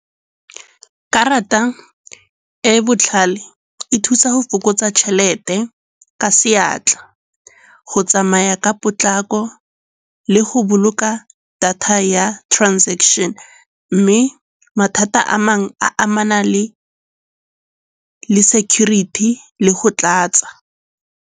Karata e e botlhale e thusa go fokotsa tšhelete ka seatla, go tsamaya ka potlako le go boloka data ya transaction. Mme mathata a mangwe a amana le security le go tlatsa.